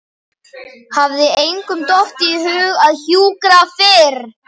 Hafði engum dottið í hug að hjúkra fyrr?